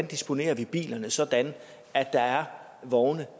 disponerer bilerne sådan at der er vogne